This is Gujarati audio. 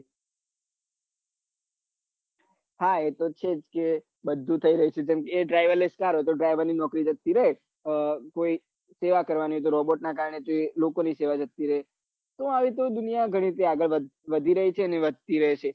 હાએ તો છે જ ને બઘુ થઈ રહ્યું છે એ driver less કાર હોય તો driver ની નોકરી જતી કોઈ સેવા કરવાની robot ના કારને લોકો ની સેવા જતી રે તેમ આ રીતે દુનિયા આગળ વઘી રહીં છે અને વઘતી રેહશે